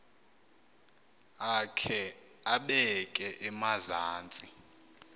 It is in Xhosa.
akhe abeke emazantsi